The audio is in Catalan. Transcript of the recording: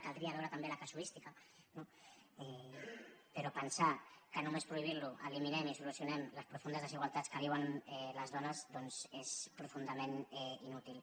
caldria veure’n també la casuística no però pensar que només prohibint lo eliminem i solucionem les profundes desigualtats que viuen les dones doncs és profundament inútil